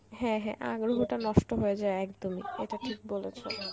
হ্যাঁ হ্যাঁ আগ্রহটা নষ্ট হয়ে যায় একদমই এইটা ঠিক বলেছ.